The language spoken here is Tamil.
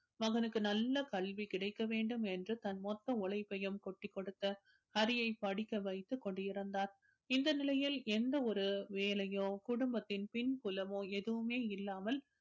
மகனுக்கு நல்ல கல்வி கிடைக்க வேண்டும் என்று தன் மொத்த உழைப்பையும் கொட்டிக்கொடுத்து ஹரியை படிக்க வைத்துக் கொண்டிருந்தார் இந்த நிலையில் எந்த ஒரு வேலையோ குடும்பத்தின் பின்புலமோ எதுவுமே இல்லாமல்